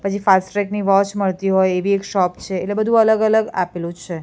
પછી ફાસ્ટ્રેક ની વોચ મળતી હોય એવી એક શોપ છે એટલે બધુ અલગ અલગ આપેલુ છે.